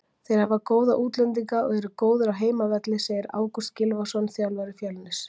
Þeir hafa góða útlendinga og eru góðir á heimavelli, segir Ágúst Gylfason, þjálfari Fjölnis.